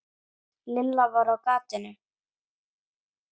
Lilla var á gatinu.